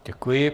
Děkuji.